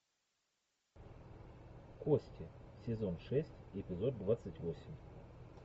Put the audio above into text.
кости сезон шесть эпизод двадцать восемь